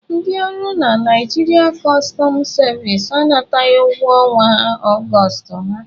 Ndị ọrụ na Naịjirịa customu sevisi anataghị ụgwọ ọnwa Augustu ha.